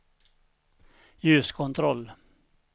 ljuskontroll